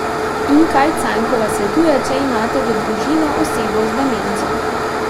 In kaj Cajnkova svetuje, če imate v družino osebo z demenco?